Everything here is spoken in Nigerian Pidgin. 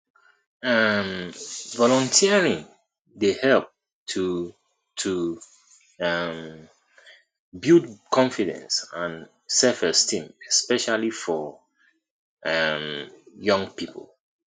um volunteering dey help to to um build confidence and selfesteem especially for um young people